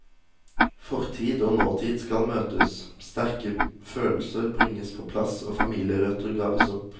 Fortid og nåtid skal møtes, sterke følelser bringes på plass og familierøtter graves opp.